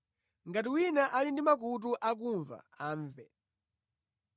(Ngati wina ali ndi makutu akumva amve).